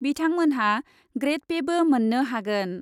बिथांमोनहा ग्रेड पेबो मोन्नो हागोन ।